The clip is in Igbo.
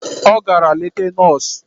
Ọ gara leta nọọsụ